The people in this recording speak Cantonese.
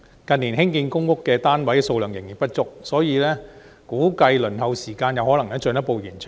近年興建公屋單位數量仍然不足，估計輪候時間有可能會進一步延長。